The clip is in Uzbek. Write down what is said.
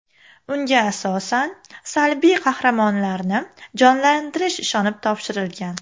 Unga asosan salbiy qahramonlarni jonlantirish ishonib topshirilgan.